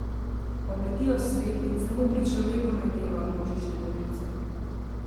Obletijo svet in samo pri človeku najdevajo množične morilce.